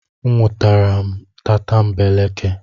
A nwụtara m tatambeleke.